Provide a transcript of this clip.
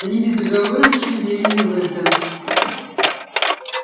они безоговорочно верили в это